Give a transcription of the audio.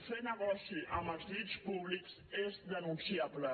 fer negoci amb els llits públics és denunciable